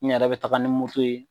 N yɛrɛ be taga ni moto ye